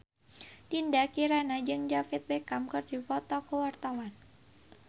Dinda Kirana jeung David Beckham keur dipoto ku wartawan